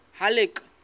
halleck